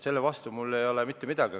Selle vastu ei ole mul mitte midagi.